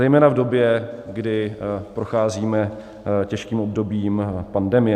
Zejména v době, kdy procházíme těžkým obdobím pandemie.